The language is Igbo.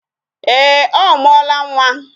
Ee, ọ mụọla nwa